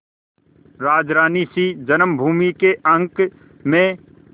राजरानीसी जन्मभूमि के अंक में